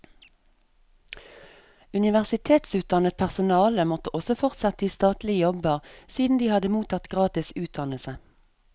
Universitetsutdannet personale måtte også fortsette i statlige jobber, siden de hadde mottatt gratis utdannelse.